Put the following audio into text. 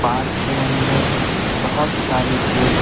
park के अंदर बहुत सारे लोग--